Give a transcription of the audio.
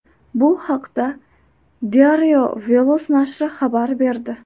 Bu haqda Diario Veloz nashri xabar berdi .